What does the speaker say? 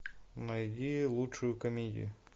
найди лучшую комедию